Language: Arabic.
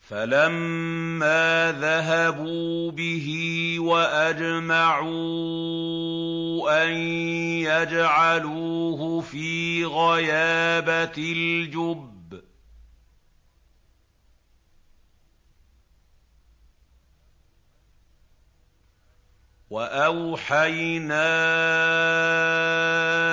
فَلَمَّا ذَهَبُوا بِهِ وَأَجْمَعُوا أَن يَجْعَلُوهُ فِي غَيَابَتِ الْجُبِّ ۚ وَأَوْحَيْنَا